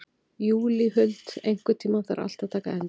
Júlíhuld, einhvern tímann þarf allt að taka enda.